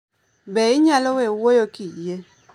Be inyalo we wuoyo kiyie